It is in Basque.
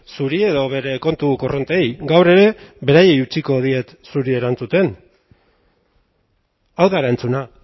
zuri edo bere kontu korrontei gaur ere beraiei utziko diet zuri erantzuten hau da erantzuna